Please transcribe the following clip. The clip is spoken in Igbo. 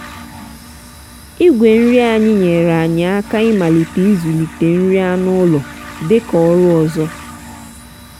igwe nri anyị nyere anyị aka ịmalite ịzụlite nri anụ ụlọ dị ka ọrụ ọzọ.